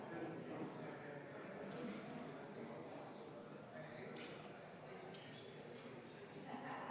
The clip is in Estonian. Kohaloleku kontroll Kohalolijaks registreerus 95 Riigikogu liiget.